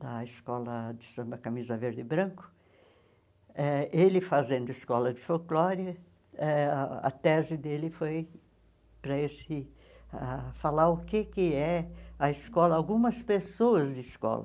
da Escola de Samba Camisa Verde e Branco, eh ele fazendo escola de folclore, eh a tese dele foi para esse ah falar o que que é a escola, algumas pessoas de escola.